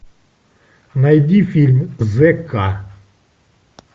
найди фильм зека